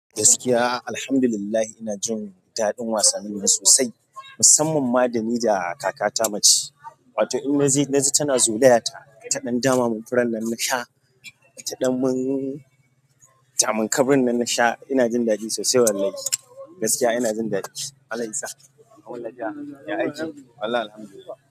Gaskiya, Alhamdulillah ina jin daɗin wasannin nan sosai musamman ma da ni da kakata mace. Wato in naje naji tana zolaya ta. Taɗan dama mun furannan na sha. Taɗan mun kaurin nan na sha ina jin daɗi sosai wallahi. Gaskiya ina jin daɗi. Allah yasa kawuni lafiya ya aiki. Wallahi alhamdulillah.